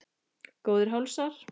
Góðir hálsar!